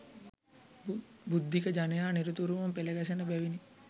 බුද්ධික ජනයා නිරතුරුවම පෙළගැසෙන බැවිනි